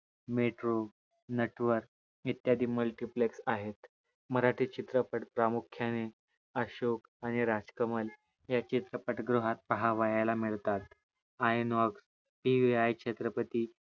metro Natwar इत्यादि MULTIPLEX आहे मराठी चित्रपट प्रामुख्याने अशोक आणि राजकमल या चित्रपट गृहात पाहावयाला मिळतात. आयनऑग हि राया छत्रपती